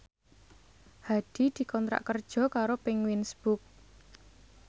Hadi dikontrak kerja karo Penguins Books